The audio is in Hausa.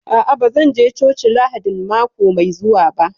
A'a, ba zan je coci Lahadin mako mai zuwa ba